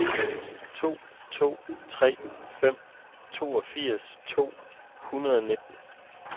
to to tre fem toogfirs to hundrede og nitten